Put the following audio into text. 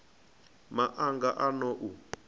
ma anga a n ou